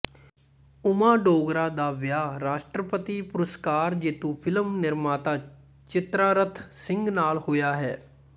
ਉਮਾ ਡੋਗਰਾ ਦਾ ਵਿਆਹ ਰਾਸ਼ਟਰੀ ਪੁਰਸਕਾਰ ਜੇਤੂ ਫਿਲਮ ਨਿਰਮਾਤਾ ਚਿਤ੍ਰਾਰਥ ਸਿੰਘ ਨਾਲ ਹੋਇਆ ਹੈ